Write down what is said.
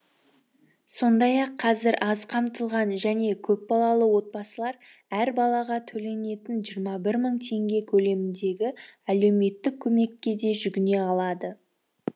сондай ақ қазір аз қамтылған және көпбалалы отбасылар әр балаға төленетін жиырма бір мың теңге көлеміндегі әлеуметтік көмекке де жүгіне алады